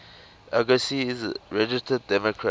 agassi is a registered democrat